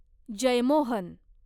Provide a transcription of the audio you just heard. Jeyamohan